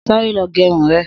Sàré lọ gẹrún rẹ̀